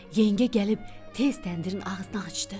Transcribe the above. Yengə gəlib tez təndirin ağzını açdı.